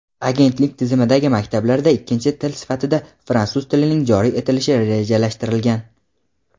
Agentlik tizimidagi maktablarda ikkinchi til sifatida fransuz tilining joriy etilishi rejalashtirilgan.